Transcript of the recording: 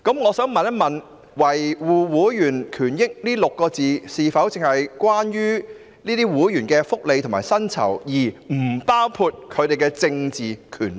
我想問"維護會員權益"六字是否只關乎會員的薪酬福利，而不包括其政治權利？